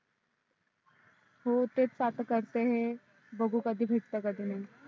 हो तेच तर आता करत आहे बघू कधी भेटते आणि कधी नाही